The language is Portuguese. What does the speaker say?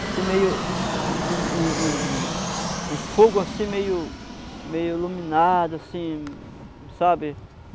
Assim, meio... Um um um um um fogo assim, meio iluminado, assim, sabe?